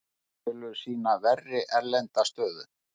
Tölur sýna verri erlenda stöðu